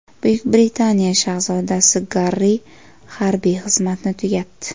Buyuk Britaniya shahzodasi Garri harbiy xizmatni tugatdi.